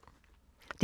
DR P2